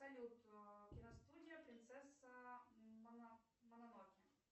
салют киностудия принцесса мононоке